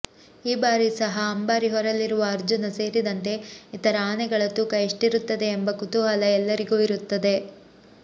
ಈ ಬಾರಿ ಸಹ ಅಂಬಾರಿ ಹೊರಲಿರುವ ಅರ್ಜುನ ಸೇರಿದಂತೆ ಇತರ ಆನೆಗಳ ತೂಕ ಎಷ್ಟಿರುತ್ತದೆ ಎಂಬ ಕುತೂಹಲ ಎಲ್ಲರಿಗೂ ಇರುತ್ತದೆ